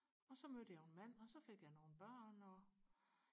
og så mødte jeg jo en mand og så fik jeg nogle børn og